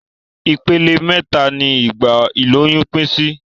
Ipele méta ni ìgbà ìlóyún pín sí